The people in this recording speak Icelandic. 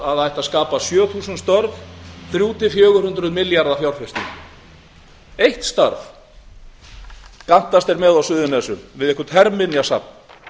að ætti að skapa sjö þúsund störf þrjú hundruð til fjögur hundruð milljarða fjárfestingu eitt starf er gantast er með á suðurnesjum við eitthvert herminjasafn